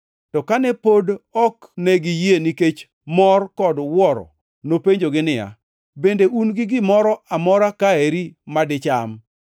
To kane pod ok ne giyie nikech mor kod wuoro, nopenjogi niya, “Bende un gi gimoro amora ka eri madicham?”